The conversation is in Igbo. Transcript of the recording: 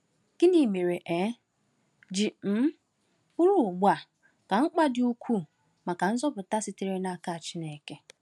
Gịnị mere e um ji um bụrụ ugbu a ka mkpa dị ukwuu maka nzọpụta sitere n’aka Chineke?